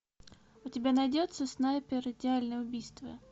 у тебя найдется снайпер идеальное убийство